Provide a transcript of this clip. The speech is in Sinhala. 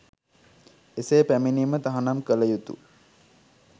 එසේ පැමිණීම තහනම් කළ යුතු